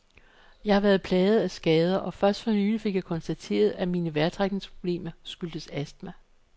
Jeg har været plaget af skader, og først fornylig fik jeg konstateret, at mine vejrtrækningsproblemer skyldes astma.